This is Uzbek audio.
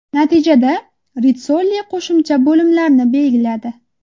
Natijada Ritssoli qo‘shimcha bo‘limlarni belgiladi.